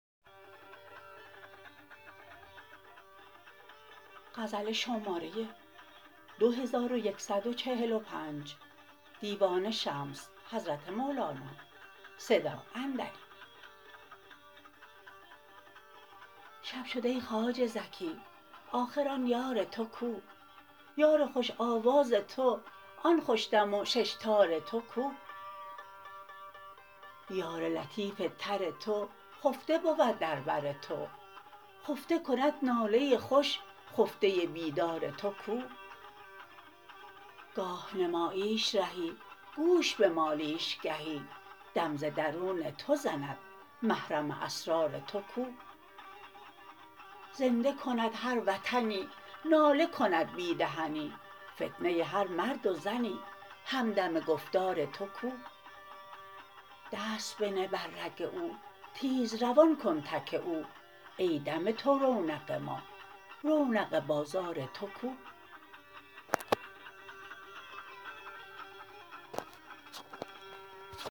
شب شد ای خواجه ز کی آخر آن یار تو کو یار خوش آواز تو آن خوش دم و شش تار تو کو یار لطیف تر تو خفته بود در بر تو خفته کند ناله خوش خفته بیدار تو کو گاه نماییش رهی گوش بمالیش گهی دم ز درون تو زند محرم اسرار تو کو زنده کند هر وطنی ناله کند بی دهنی فتنه هر مرد و زنی همدم گفتار تو کو دست بنه بر رگ او تیز روان کن تک او ای دم تو رونق ما رونق بازار تو کو